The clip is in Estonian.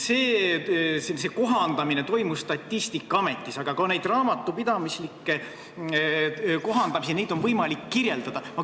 See kohandamine toimus Statistikaametis, aga ka neid raamatupidamislikke kohandamisi on võimalik kirjeldada.